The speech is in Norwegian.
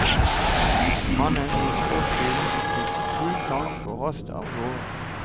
Mannen i sportsbilen fikk full tank og raste avgårde.